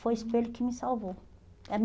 Foi o espelho que me salvou.